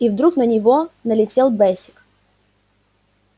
и вдруг на него налетел бэсик